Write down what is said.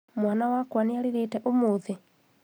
Mwana wakwa nĩarĩrĩte ũmũthĩ?